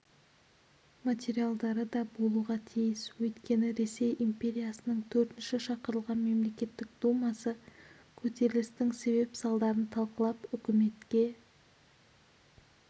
материалдары да болуға тиіс өйткені ресей империясының төртінші шақырылған мемлекеттік думасы көтерілістің себеп-салдарларын талқылап үкіметке